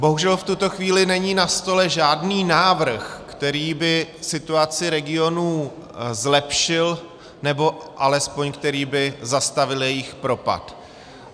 Bohužel v tuto chvíli není na stole žádný návrh, který by situaci regionů zlepšil, nebo alespoň který by zastavil jejich propad.